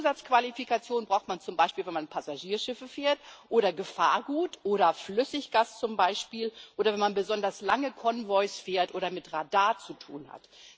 Zusatzqualifikationen braucht man zum Beispiel, wenn man Passagierschiffe fährt oder Gefahrgut oder Flüssiggas oder wenn man besonders lange Konvois fährt oder mit Radar zu tun hat.